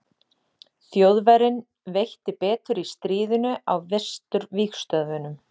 þjóðverjum veitti betur í stríðinu á vesturvígstöðvunum